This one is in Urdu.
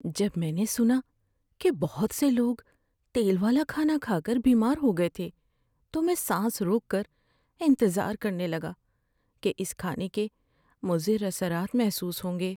جب میں نے سنا کہ بہت سے لوگ تیل والا کھانا کھا کر بیمار ہو گئے تھے تو میں سانس روک کر انتظار کر نے لگا کہ اس کھانے کے مضر اثرات محسوس ہوں گے۔